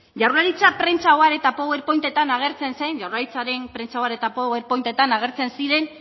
jaurlaritza prentsa ohar eta power pointetan agertzen zen jaurlaritzaren prentsa ohar eta power pointetan agertzen ziren